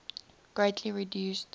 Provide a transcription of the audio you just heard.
greatly reduced